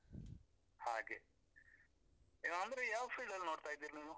ಹಾಗೆ, ಅ ಅಂದ್ರೆ ಯಾವ್ field ಅಲ್ಲಿ ನೋಡ್ತಾ ಇದ್ದೀರಿ ನೀವು?